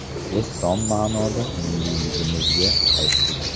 Biz tom ma’noda millliyligimizga qaytdik.